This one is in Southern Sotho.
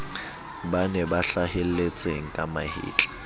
bane ba hlahelletseng ka mahetla